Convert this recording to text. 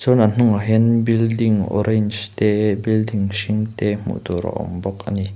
chuan a hnungah hian building orange te building hring te hmuh tur a awm bawk ani.